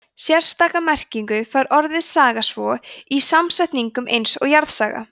sérstaka merkingu fær orðið saga svo í samsetningum eins og jarðsaga